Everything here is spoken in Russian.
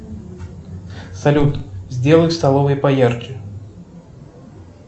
салют сделай в столовой поярче